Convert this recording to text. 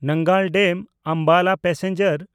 Nangal ᱰᱮᱢ–ᱟᱢᱵᱟᱞᱟ passenger